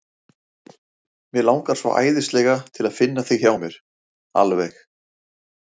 Mig langar svo æðislega til að finna þig hjá mér. alveg.